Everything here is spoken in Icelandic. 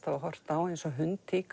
hafa horft á eins og